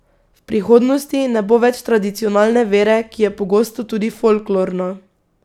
V prihodnosti ne bo več tradicionalne vere, ki je pogosto tudi folklorna.